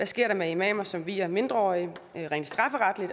sker med imamer som vier mindreårige